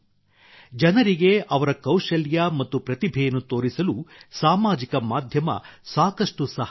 ಜನರಿಗೆ ಅವರ ಕೌಶಲ್ಯ ಮತ್ತು ಪ್ರತಿಭೆಯನ್ನು ತೋರಿಸಲು ಸಾಮಾಜಿಕ ಮಾಧ್ಯಮ ಸಾಕಷ್ಟು ಸಹಾಯ ಮಾಡಿದೆ